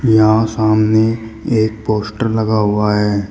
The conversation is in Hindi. यहां सामने एक पोस्टर लगा हुआ है।